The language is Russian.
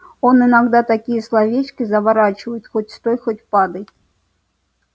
он иногда такие словечки заворачивает хоть стой хоть падай